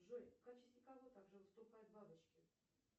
джой в качестве кого также выступают бабочки